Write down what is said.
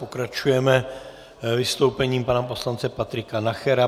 Pokračujeme vystoupením pana poslance Patrika Nachera.